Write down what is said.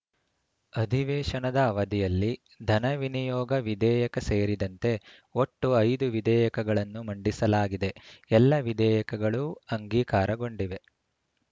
ಅಧಿವೇಶನದ ಅವಧಿಯಲ್ಲಿ ಧನವಿನಿಯೋಗ ವಿಧೇಯಕ ಸೇರಿದಂತೆ ಒಟ್ಟು ಐದು ವಿಧೇಯಕಗಳನ್ನು ಮಂಡಿಸಲಾಗಿದೆ ಎಲ್ಲ ವಿಧೇಯಕಗಳೂ ಅಂಗೀಕಾರಗೊಂಡಿವೆ